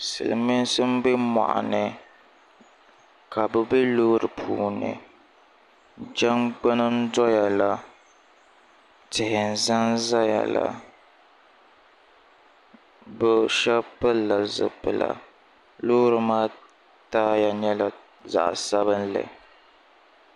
silimiinsi m-be mɔɣuni ka bɛ be loori puuni jaŋgbuni n-dɔya la tihi n-zanzaya la bɛ shɛba pilila zipila loori maa taaya nyɛla zaɣ' sabilinli